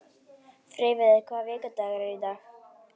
Freyviður, hvaða vikudagur er í dag?